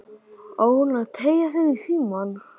Á hún að teygja sig í símann?